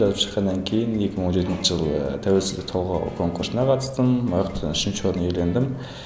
жазып шыққаннан кейін екі мың он жетінші жылы тәуелсіздік толғау конкурсына қатыстым ояқтан үшінші орын иелендім